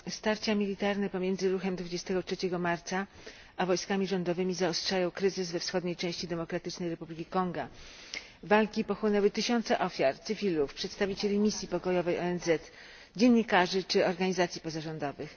Starcia militarne pomiędzy Ruchem 23 Marca a wojskami rządowymi zaostrzają kryzys we wschodniej części Demokratycznej Republiki Konga. Walki pochłonęły tysiące ofiar cywilów, przedstawicieli misji pokojowej ONZ, dziennikarzy czy organizacji pozarządowych.